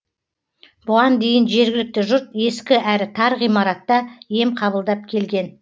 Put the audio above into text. бұған дейін жергілікті жұрт ескі әрі тар ғимаратта ем қабылдап келген